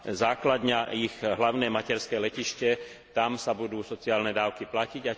základňa ich hlavné materské letisko, tam sa budú sociálne dávky platiť.